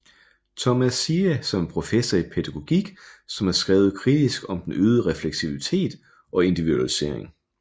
Thomas Ziehe som er professor i pædagogik som har skrevet kritisk om den øgede refleksivitet og individualisering